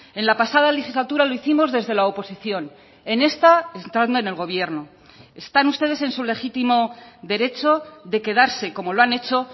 en la pasada legislatura lo hicimos desde la oposición en esta estando en el gobierno están ustedes en su legítimo derecho de quedarse como lo han hecho